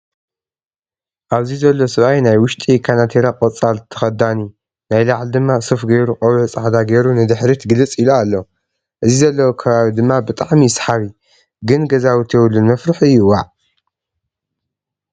ኣብዚ ዘሎ ሰባኣይ ናይ ውሽጢ ካናቲራ ቆፃሊ ተከዲኒ ናይ ላዕሊ ድማ ሱፍ ገይሩ ቆቢዕ ፃዕዳ ገይረ ንድሕሪት ግልፅ ኢሎ ኣሎ ።እዚ ዘለዎ ከባቢ ድማ ብጣዕሚ እዩ ሰሓቢ። ግን ገዛውቲ የቡሉን መፍርሒ እዩ ዋእ!